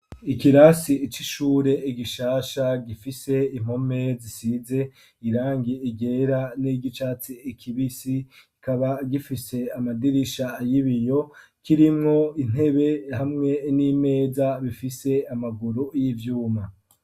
Ikirasi c'ishure gishasha gifise impome zisize irangi ryera n'iry'icatsi kibisi, kikaba gifise amadirisha y'ibiyo kirimwo intebe hamwe n'imeza bifise amaguru y'ivyuma.